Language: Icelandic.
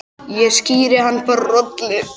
Ég skíri hann bara Rolu.